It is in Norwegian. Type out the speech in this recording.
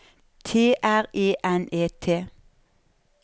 T R E N E T